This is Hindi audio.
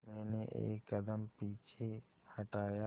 मैंने एक कदम पीछे हटाया